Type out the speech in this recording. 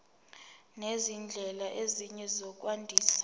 nezindlela ezinye zokwandisa